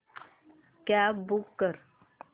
cab book कर